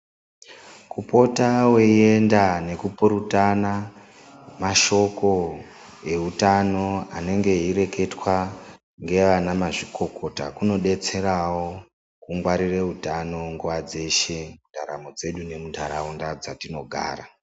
Kupota weyienda nokupurutana mashoko eutano anenge eyi reketwa ngevanamazvikokota, kunodetserawo kungwarire utano nguwa dzeshe mundaramo dzedu nemunharaunda dzatinogara.